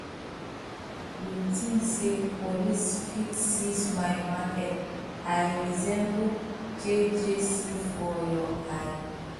you think say police fit seize my market i resemble jjc for your eye